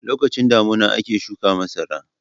Lokacin damina ake shuka masara.